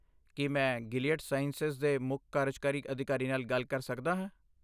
ਕੀ ਮੈਂ Gilead sciences ਦੇ ਮੁੱਖ ਕਾਰਜਕਾਰੀ ਅਧਿਕਾਰੀ ਨਾਲ ਗੱਲ ਕਰ ਸਕਦਾ ਹਾਂ?